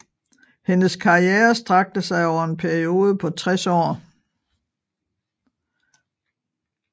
Hendes karriere strakte sig over en periode på 60 år